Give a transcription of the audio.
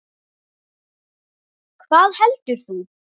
Hvað heldur þú?